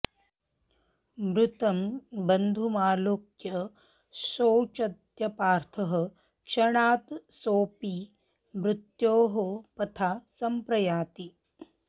मृतं बन्धुमालोक्य शोचत्यपार्थः क्षणात् सोऽपि मृत्योः पथा संप्रयाति